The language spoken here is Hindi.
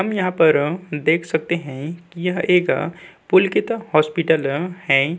हम यहाँ पर देख सकते है कि यह एक पुलकित हॉस्पिटल हैं।